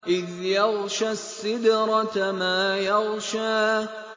إِذْ يَغْشَى السِّدْرَةَ مَا يَغْشَىٰ